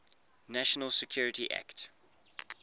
national security act